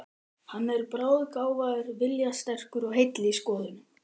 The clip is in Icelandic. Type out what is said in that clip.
Hann er bráðgáfaður, viljasterkur og heill í skoðunum.